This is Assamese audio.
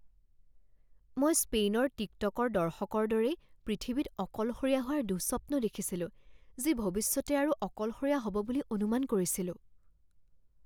মই স্পেইনৰ টিকটকৰ দৰ্শকৰ দৰেই পৃথিৱীত অকলশৰীয়া হোৱাৰ দুঃস্বপ্ন দেখিছিলো যি ভৱিষ্যতে আৰু অকলশৰীয়া হ'ব বুলি অনুমান কৰিছিলোঁ।